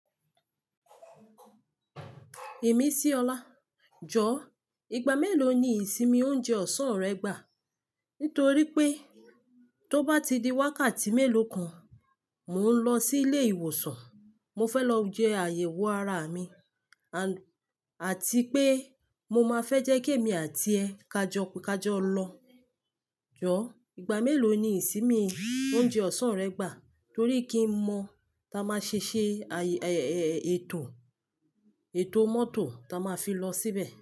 Ìmísí ọlá. Jọ, ìgbà mélòó ni ìsinmi oúnjẹ ọ̀sán rẹ gbà? Nítorí pé tó bá ti di wákàtí mélòó kan, mò ń lọ sí ilé ìwòsàn. Mo fẹ́ lọ jẹ àyẹ̀wò ara mi, àti pé mo máa fẹ́ jẹ́ kí èmi àti ẹ kajọ-kajọ lọ. Jọ, ìgbà mélòó ni ìsinmi oúnjẹ ọ̀sán rẹ gbà? Torí kí n mọ ta máa ṣe ṣẹ ètò mọ́tò ta máa fi lọ síbẹ̀.